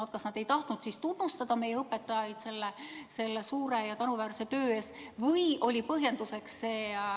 Kas nad ei tahtnud tunnustada meie õpetajaid selle suure ja tänuväärse töö eest?